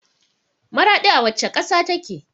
Maraɗi a wacce ƙasa take?